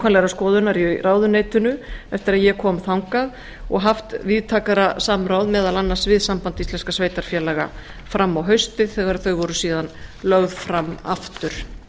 nákvæmrar skoðunar í ráðuneytinu eftir að ég kom þangað og haft víðtækara samráð meðal annars við samband íslenskra sveitarfélaga fram á haustið þegar þau voru síðan lögð fram aftur